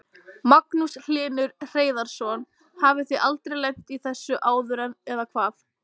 Magnús Hlynur Hreiðarsson: Hafið þið aldrei lent í þessu áður eða hvað?